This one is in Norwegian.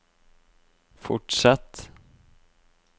fortsett